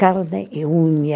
Carne e unha